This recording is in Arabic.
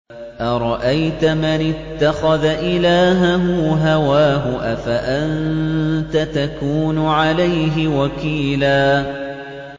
أَرَأَيْتَ مَنِ اتَّخَذَ إِلَٰهَهُ هَوَاهُ أَفَأَنتَ تَكُونُ عَلَيْهِ وَكِيلًا